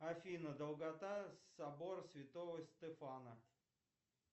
афина долгота собор святого стефана